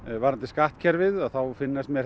varðandi skattkerfið þá finnast mér